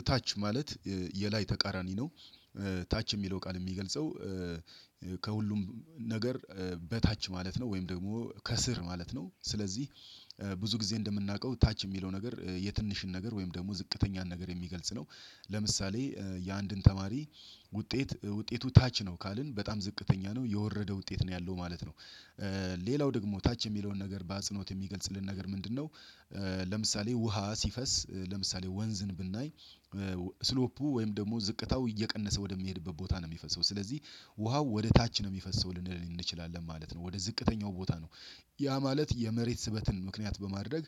እታች ማለት የላይ ተቃራኒ ነው። ታች የሚለው ቃል የሚገልጸው ከሁሉም ነገር በታች ማለት ነው ወይም ደግሞ ከስር ማለት ነው። ስለዚህ ብዙ ጊዜ እንደምናውቀው ታች የሚለው ነገር የትንሽን ነገር ወይም ደግሞ ዝቅተኛን ነገር የሚገልጽ ነው። ለምሳሌ የአንድን ተማሪ ውጤት ውጤቱ ታች ነው ካልን በጣም ዝቅተኛ ነው የወረደ ውጤት ነው ያለው ማለት ነው። ሌላው ደግሞ ታች የሚለውን ነገር በአጽኖት የሚገልጽልን ነገር ምንድነው? ለምሳሌ ውሃ ሲፈስ ለምሳሌ ወንዝን ብናይ ስሎፑ ወይም ደግሞ ዝቅታው እየቀነሰ ወደሚሄድበት ቦታ ነው የሚፈሰው ስለዚህ ውሃው ወደ ታች ነው የሚፈሰው ልንል እንችላለን ማለት ነው ወደ ዝቅተኛው ቦታ ነው። ያ ማለት የመሬት ስበትን ምክንያት በማድረግ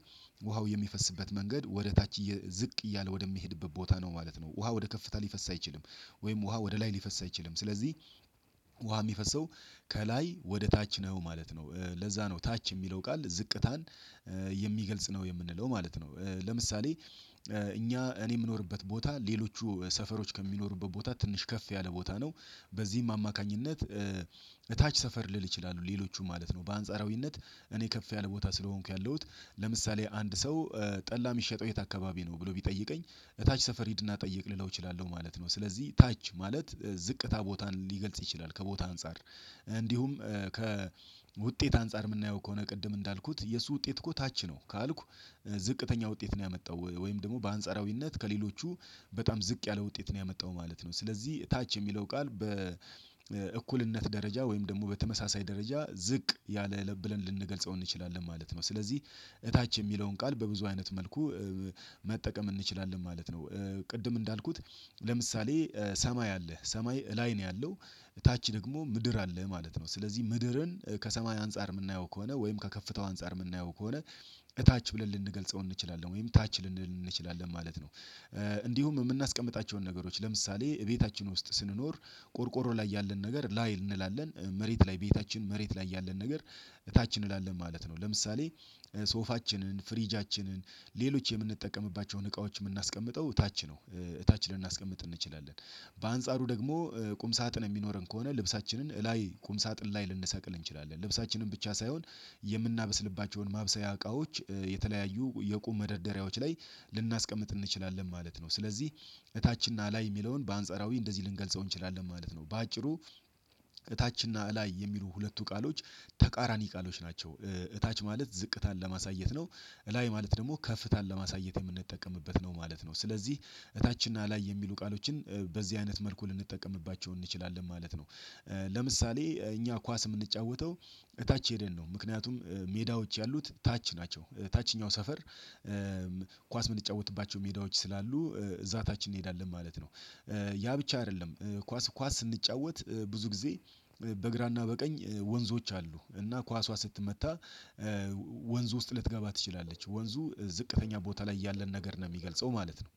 ውሃው የሚፈስበት መንገድ ወደ ታች ዝቅ እያለ ወደሚሄድበት ቦታ ነው ማለት ነው። ውሃ ወደ ከፍታ ሊፈስ አይችልም። ወይም ውሃ ወደ ላይ ሊፈስ አይችልም ስለዚህ ውሃ የሚፈሰው ከላይ ወደ ታች ነው ማለት ነው። ለዛ ነው ታች የሚለው ቃል ዝቅታን የሚገልጽ ነው የምንለው ማለት ነው። ለምሳሌ እኛ እኔ የምኖርበት ቦታ ሌሎቹ ሰፈሮች ከሚኖሩበት ቦታ ትንሽ ከፍ ያለ ቦታ ነው። በዚህም አማካኝነት እታች ሰፈር ልል እችላለሁ ሌሎቹን ማለት ነው በአንጻራዊነት እኔ ከፍ ያለ ቦታ ስለሆንኩ ያለሁት ለምሳሌ አንድ ሰው ጠላ የሚሸጠው የት አካባቢ ነው ብሎ ቢጠይቀኝ ታች ሰፈር ሂድና ጠይቅ ልለው እችላለሁ ማለት ነው። ስለዚህ ታች ማለት ዝቅታ ቦታን ሊገልጽ ይችላል ከቦታ አንፃር። እንዲሁም ከውጤት አንፃር የምናየው ከሆነ ቅድም እንዳልኩት የሱ ውጤት እኮ ታች ነው ካልኩ ዝቅተኛ ውጤት ነው ያመጣው ወይም ደግሞ በአንጻራዊነት ከሌሎቹ በጣም ዝቅ ያለ ውጤት ነው ያመጣው ማለት ነው። ስለዚህ ታች የሚለው ቃል በእኩልነት ደረጃ ወይም ደግሞ በተመሳሳይ ደረጃ ዝቅ ያለ ብለን ልንገልጸው እንችላለን ማለት ነው ስለዚህ እታች የሚለውን ቃል በብዙ አይነት መልኩ መጠቀም እንችላለን ማለት ነው። ቅድም እንዳልኩት ለምሳሌ ሰማይ አለ ሰማይ ላይ ነው ያለው ታች ደግሞ ምድር አለ ማለት ነው ስለዚህ ምድርን ከሰማይ አንፃር የምናየው ከሆነ ወይም ከከፍታው አንፃር የምናየው ከሆነ እታች ብለን ልንገልጸው እንችላለን ወይም ታች ልንል እንችላለን ማለት ነው። እንዲሁም የምናስቀምጣቸውን ነገሮች ለምሳሌ ቤታችን ውስጥ ስንኖር ቆርቆሮ ላይ ያለን ነገር ላይ እንላለን መሬት ላይ ቤታችን መሬት ላይ ያለን ነገር እታች እንላለን ማለት ነው። ለምሳሌ ሶፋችንን ፍሪጃችንን ሌሎች የምንጠቀምባቸውን እቃዎች የምናስቀምጠው እታች ነው እታች ልናስቀምጥ እንችላለን በአንጻሩ ደግሞ ቁም ሳጥን የሚኖረን ከሆነ ልብሳችንን እላይ ቁም ሳጥን ላይ ልንሰቅል እንችላለን ልብሳችንን ብቻ ሳይሆን የምናበስልባቸውን ማብሰያ እቃዎች የተለያዩ የቁም መደርደሪያዎች ላይ ልናስቀምጥ እንችላለን ማለት ነው። ስለዚህ እታችንና ላይ የሚለውን በአንጻራዊ እንደዚህ ልንገልጸው እንችላለን ማለት ነው። በአጭሩ እታችንና ላይ የሚሉ ሁለቱ ቃሎች ተቃራኒ ቃሎች ናቸው። እታች ማለት ዝቅታን ለማሳየት ነው እላይ ማለት ደግሞ ከፍታን ለማሳየት የምንጠቀምበት ነው ማለት ነው። ስለዚህ እታችንና ላይ የሚሉ ቃሎችን በዚህ አይነት መልኩ ልንጠቀምባቸው እንችላለን ማለት ነው። ለምሳሌ እኛ ኳስ የምንጫወተው ታች ሄደን ነው ምክንያቱም ሜዳዎች ያሉት ታች ናቸው ታችኛው ሰፈር ኳስ የምንጫወትባቸው ሜዳዎች ስላሉ እዛ ታች እንሄዳለን ማለት ነው። ያ ብቻ አይደለም ኳስ ኳስ ስንጫወት ብዙ ጊዜ በግራና በቀኝ ወንዞች አሉ እና ኳሷ ስትመታ ወንዝ ውስጥ ልትገባ ትችላለች ወንዙ ዝቅተኛ ቦታ ላይ ያለን ነገር ነው የሚገልጸው ማለት ነው።